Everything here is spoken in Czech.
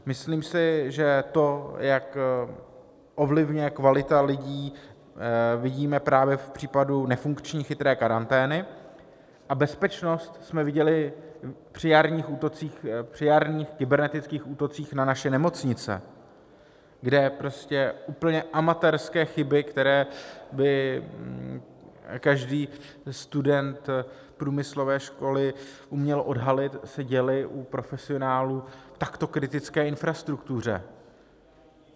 Myslím si, že to, jak ovlivňuje kvalita lidí, vidíme právě v případu nefunkční chytré karantény, a bezpečnost jsme viděli při jarních kybernetických útocích na naše nemocnice, kde prostě úplně amatérské chyby, které by každý student průmyslové školy uměl odhalit, se děly u profesionálů v takto kritické infrastruktuře.